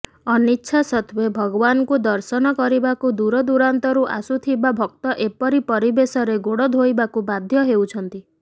ଅନିଚ୍ଛା ସତ୍ତ୍ୱେ ଭଗବାନଙ୍କୁ ଦର୍ଶନ କରିବାକୁ ଦୂରଦୂରାନ୍ତରୁ ଆସୁଥିବା ଭକ୍ତ ଏପରି ପରିବେଶରେ ଗୋଡ଼ ଧୋଇବାକୁ ବାଧ୍ୟ ହେଉଛନ୍ତି